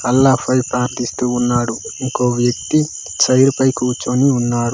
అల్లా పై ప్రార్థిస్తూ ఉన్నాడు ఇంకో వ్యక్తి చైర్ పై కూర్చొని ఉన్నారు.